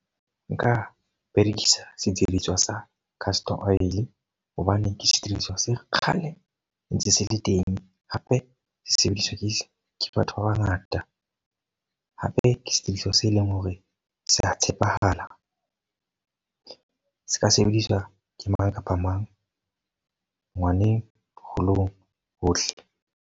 Nka berekisa sediriswa sa castor oil. Hobane ke sesebediswa se kgale ntse se le teng. Hape sesebediswa ke se ke batho ba ba ngata. hape ke sesebediswa se leng hore sa tshepahala. Se ka sebediswa ke mang kapa mang, ngwaneng, boholong, hohle.